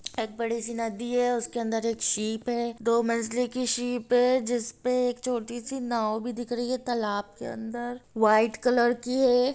एक बड़ी नदी है उसके अंदर एक शीप हैदो मंजिले की शीप है जिसपे एक छोटी सी नाव भी दिख रही हैं तलाब के अंदर व्हाइट कलर की है।